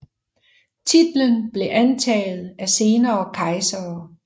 Titlen blev antaget af senere kejsere